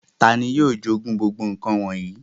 Tàni yio jogun gbogbo nkan wọnyi?